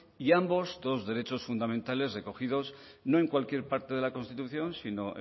y ambos dos derechos fundamentales recogidos no en cualquier parte de la constitución sino